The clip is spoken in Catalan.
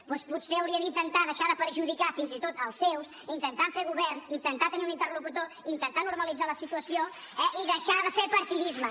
doncs potser hauria d’intentar deixar de perjudicar fins i tot els seus intentar fer govern intentar tenir un interlocutor intentar normalitzar la situació eh i deixar de fer partidisme